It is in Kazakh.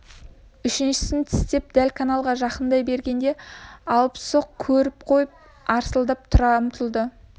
үшіншісін тістеп дәл каналға жақыңдай бергеңде алыпсоқ көріп қойып арсылдап тұра ұмтылды